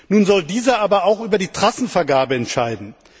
Nun soll dieser aber auch über die Trassenvergabe entscheiden.